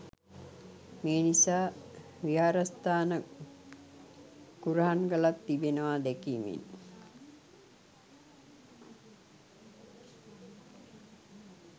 මේ නිසා විහාරස්ථාන කුරහන් ගලක් තිබෙනවා දැකීමෙන්